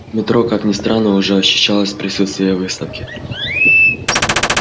в метро как ни странно уже ощущалось присутствие выставки